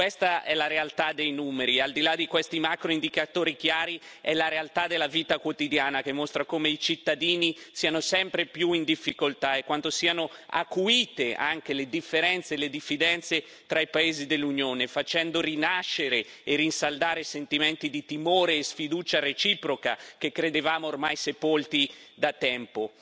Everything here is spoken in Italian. Questa è la realtà dei numeri, ma al di là di questi macroindicatori chiari è la realtà della vita quotidiana che mostra come i cittadini siano sempre più in difficoltà e quanto siano acuite anche le differenze e le diffidenze tra i paesi dell'Unione, facendo rinascere e rinsaldare sentimenti di timore e sfiducia reciproca che credevamo ormai sepolti da tempo.